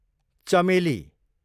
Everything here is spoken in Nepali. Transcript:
चमेली